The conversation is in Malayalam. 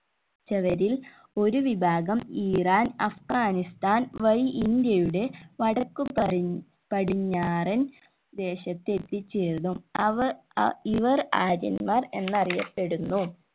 ചവരിൽ ഒരു വിഭാഗം ഇറാൻ അഫ്ഗാനിസ്ഥൻ വഴി ഇന്ത്യയുടെ വടക്കു പടി പടിഞ്ഞാറൻ ദേശത്തെത്തി ചേർന്നു അവർ ഇവർ ആര്യന്മാർ എന്നറിയപ്പെടുന്നു